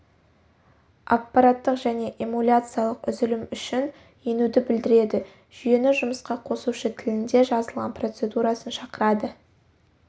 аппараттық және эмуляциялық үзілім үшін енуді білдіреді жүйені жұмысқа қосушы тілінде жазылған процедурасын шақырады